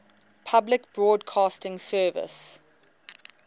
public broadcasting service